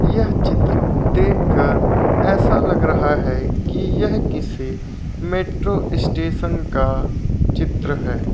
यह चित्र देख कर ऐसा लग रहा है कि यह किसी मेट्रो स्टेशन का चित्र है।